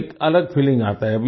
तो एक अलग फीलिंग आता है